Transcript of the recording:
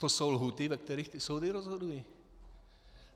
To jsou lhůty, ve kterých ty soudy rozhodují.